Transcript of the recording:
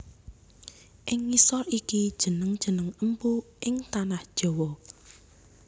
Ing ngisor iki jeneng jeneng empu ing tanah jawa